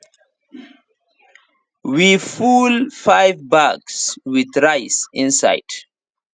we full five bags with rice inside